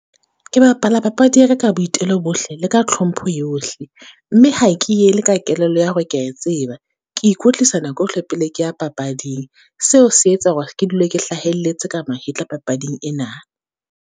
Ke bapala papadi ya ka ka boitelo bohle, le ka tlhompho yohle, mme ha ke e ele ka kelello ya hore ke ya tseba. Ke ikwetlisa nako yohle pele ke ya papading. Seo se etsa hore ke dula ke hlahelletse ka mahetla papading ena.